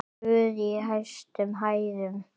Guð í hæstum hæðum!